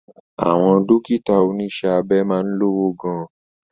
Àwọn Dókítà oníṣẹ́ abẹ máa ń lówó gan